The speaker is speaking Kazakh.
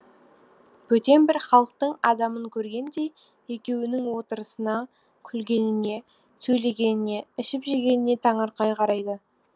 бөтен бір халықтың адамын көргендей екеуінің отырысына күлгеніне сөйлегеніне ішіп жегеніне таңырқай қарайды